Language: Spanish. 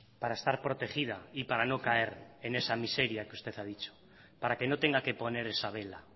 para estar protegida y para no caer en esa miseria que usted ha dichjo para que no tenga que poner esa vela